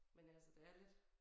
Men altså det er lidt